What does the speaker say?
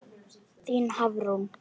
Þín Hafrún.